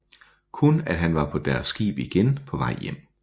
Kun at han var på deres skib igen på vej hjem